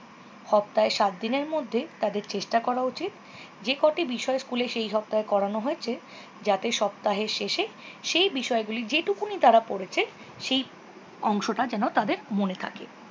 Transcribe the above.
শসপ্তাহের সাতদিনের মধ্যে তাদের চেষ্টা করা উচিত যে কোটি বিষয়ে তাদের সেই সপ্তাহে করান হএয়ছে যাতে সপ্তাহের শেষে সেই বিশয়গুলির জেতুকুনি তারা পড়তে পেরেছে সেই অংশটা যেন তাদের মনে থাকে।